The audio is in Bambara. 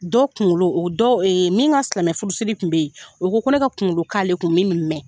Dɔw kunkolo o dɔw min ka silamɛ furusiri kun bɛ yen, o ko ko ne ka kunkolo k'ale kun min min bɛ mɛn.